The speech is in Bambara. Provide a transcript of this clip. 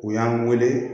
U y'an wele